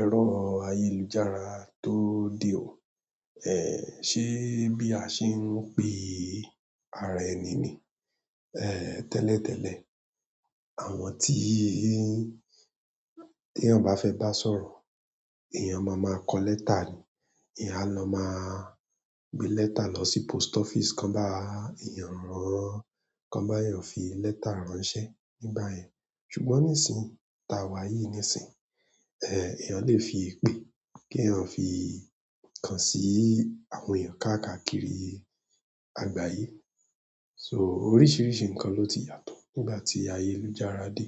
ẹrọ ayélujára to de o ẹn ṣe bí a ṣe ń pe ara ẹni ni, èè tẹ́lẹ̀tẹ́lẹ̀ àwọn tíí tí èèyàn bá fẹ́ bá sọ̀rọ̀, èèyàn máa ma kọ lẹ́tà ni. Eyan a lọ maa mu letter lọ si post office kan ba eyan mu, kan ba eyan fi letter ránṣẹ́ nigbayen ṣùgbọ́n nísìí ta wá yí nísìí, èèyàn lè fi í pè, kí èèyàn fi kàn sí àwọn èèyàn káàkiri àgbáyé. So oríṣìríṣi ǹkan ló ti yàtọ̀ nígbà tí ayélujára dé.